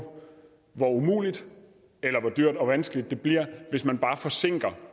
hvor umuligt eller hvor dyrt og vanskeligt det bliver hvis man forsinker